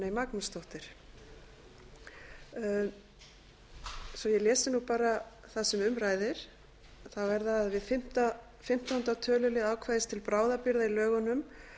magnúsdóttir svo ég lesi bara það sem um ræðir er það við fimmtánda tölulið ákvæðis til bráðabirgða í lögunum